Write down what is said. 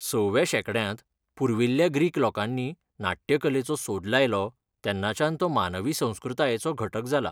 सव्या शेंकड्यांत पुर्विल्ल्या ग्रीक लोकांनी नाट्यकलेचो सोद लायलो तेन्नाच्यान तो मानवी संस्कृतायेचो घटक जाला.